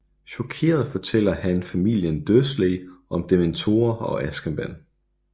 Chokeret fortæller han familien Dursley om Dementorer og Azkaban